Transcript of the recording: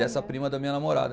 Dessa prima da minha namorada.